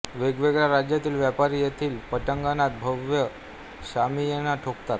वेगवेगळ्या राज्यातील व्यापारी येथील पटांगणात भव्य शामियाना ठोकतात